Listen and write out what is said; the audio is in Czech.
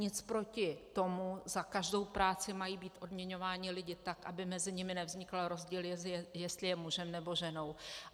Nic proti tomu, za každou práci mají být odměňováni lidé tak, aby mezi nimi nevznikl rozdíl, jestli je mužem, nebo ženou.